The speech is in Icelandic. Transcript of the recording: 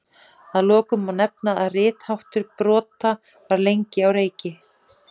Að lokum má nefna að ritháttur brota var lengi á reiki.